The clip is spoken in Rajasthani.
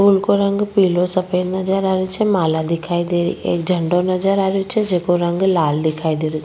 फूल को रंग पीलो सफेद नजर आ रेहो छे माला दिखाई दे एक झंडो नजर आ रेहो छे जेको रंग लाल दिखाई दे रो।